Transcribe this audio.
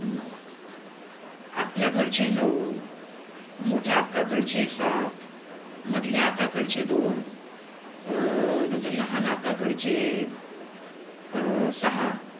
आपल्या घरचे नऊ, मोठ्या आक्का कडचे सात, मधल्या अक्का कडचे दोन अं नंतर लहान अक्काकडचे अं सहा